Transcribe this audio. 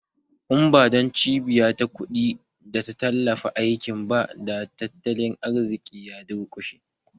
In ba don cibiya ta kuɗi da ta tallafawa aikin ba, da tattalin arzikin ya durƙushe